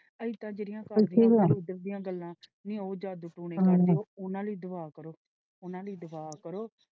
ਅਸੀਂ ਤਾਂ ਜਿਹੜੀਆਂ ਗੱਲਾਂ ਨੀ ਉਹ ਜਾਦੂ ਟੋਣੇ ਉਹਨਾਂ ਲਈ ਦੁਆ ਕਰੋ ਉਹਨਾਂ ਲਈ ਦੁਆ ਕਰੋ।